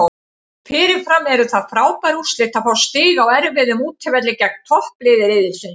Fyrirfram eru það frábær úrslit að fá stig á erfiðum útivelli gegn toppliði riðilsins.